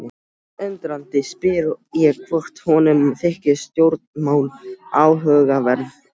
Undrandi spyr ég hvort honum þyki stjórnmál áhugaverð.